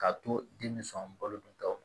K'a to den sɔn balo duntaw